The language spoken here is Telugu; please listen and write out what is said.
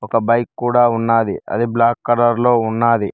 ఒక బైక్ కూడా ఉన్నాది అది బ్లాక్ కలర్ లో ఉన్నాది.